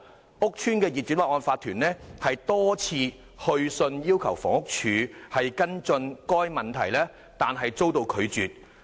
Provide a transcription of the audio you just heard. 該屋邨的業主立案法團多次去信要求房屋署跟進該問題但遭拒絕。